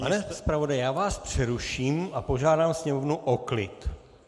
Pane zpravodaji, já vás přeruším a požádám sněmovnu o klid.